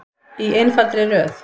Í einfaldri röð.